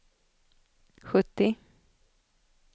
sjuttio